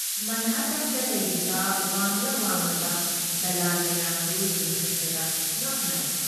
ꯃꯟꯍꯇꯟꯗ ꯂꯩꯔꯤꯕ ꯋꯥꯡꯂ ꯋꯥꯡꯂꯕ ꯗꯂꯥꯟ ꯃꯌꯥꯝꯗꯨ ꯌꯦꯡꯈꯠꯄꯗ ꯉꯛ ꯅꯥꯏ ꯫